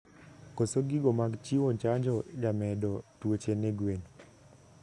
Koso gigo mag chiwo chanjo jamedo tuoche ne gwen